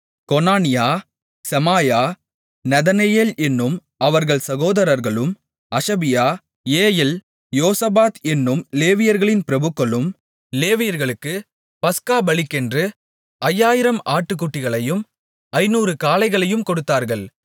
Conaniah Shemaiah Nethanel என்னும் அவர்கள் சகோதரர்களும் அஷபியா ஏயெல் யோசபாத் என்னும் லேவியர்களின் பிரபுக்களும் லேவியர்களுக்கு பஸ்கா பலிக்கென்று ஐயாயிரம் ஆட்டுக்குட்டிகளையும் ஐந்நூறு காளைகளையும் கொடுத்தார்கள்